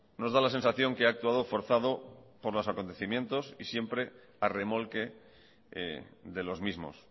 nos da la sensación que ha actuado forzado por los acontecimientos y siempre a remolque de los mismos